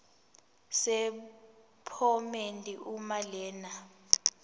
sephomedi uma lena